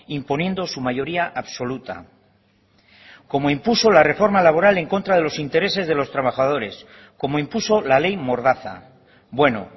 imponiendo su mayoría absoluta como impuso la reforma laboral en contra de los intereses de los trabajadores como impuso la ley mordaza bueno